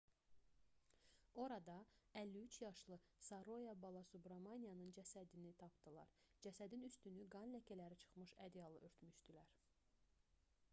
orada 53 yaşlı saroya balasubramaniyanın cəsədini tapdılar cəsədin üstünü qan ləkələri çıxmış ədyalla örtmüşdülər